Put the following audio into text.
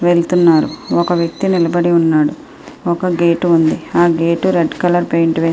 --వెళ్తున్నారు.ఒక వ్య్కతి నిలబడి ఉన్నాడు. ఒక గేట్ ఉంది. ఆ గేటు రెడ్ కలర్ పెయింట్ వేస్--